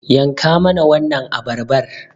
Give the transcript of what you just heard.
Yanka mana wannan abarbar